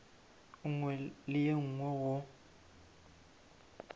nngwe le ye nngwe go